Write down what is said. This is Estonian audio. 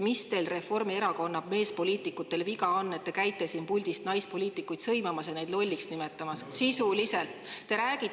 Mis teil, Reformierakonna meespoliitikutel, viga on, et te käite siin puldis naispoliitikuid sõimamas ja neid lolliks nimetamas sisuliselt?